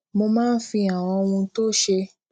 mo máa ń fi àwọn ohun tó ṣe